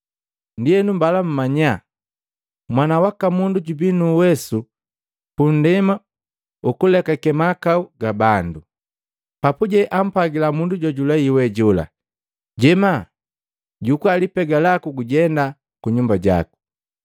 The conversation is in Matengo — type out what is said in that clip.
Ndienu, mbala mmanya Mwana waka Mundu jubi nuuwesu pundema ukulekake mahakau ga bandu.” Papuje ampwagila mundu jojulei we jola, “Jema, jukua lipega laku gujenda kuyumba jaku.”